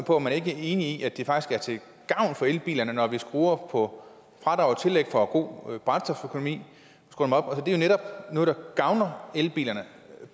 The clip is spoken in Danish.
om man ikke er enig i at det faktisk er til gavn for elbilerne når vi skruer op for fradrag og tillæg for god brændstoføkonomi det er netop noget der gavner elbilerne